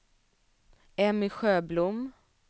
Emmy Sjöblom